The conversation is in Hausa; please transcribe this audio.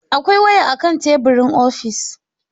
Akwai waya akan teburin ofis.